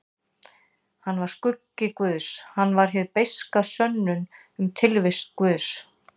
Hann var skuggi guðs, hann var hin beiska sönnun um tilvist guðs.